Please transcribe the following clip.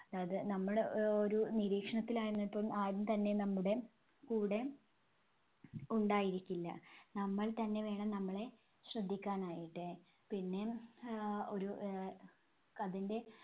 അത് നമ്മള് ഒ~ഒരു നിരീക്ഷണത്തിലായിരുന്നപ്പളും ആരും തന്നെ നമ്മുടെ കൂടെ ഉണ്ടായിരിക്കില്ല. നമ്മൾ തന്നെ വേണം നമ്മളെ ശ്രദ്ധിക്കാനായിട്ട്. പിന്നെ ആഹ് ഒരു ആഹ് അതിന്റെ